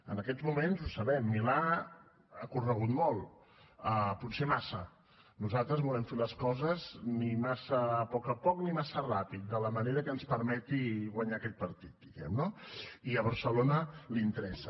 en aquests moments ho sabem milà ha corregut molt potser massa nosaltres volem fer les coses ni massa a poc a poc ni massa ràpid de la manera que ens permeti guanyar aquest partit diguem ne no i a barcelona li interessa